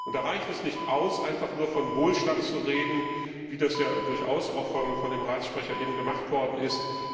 Da reicht es nicht aus, einfach nur von Wohlstand zu reden, wie das ja durchaus von dem Sprecher des Rates gemacht worden ist.